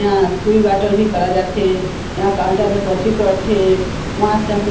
इहा सुई बाटल भी करा जाथे इहा काउंटर में पर्ची कटथे उहा सब के--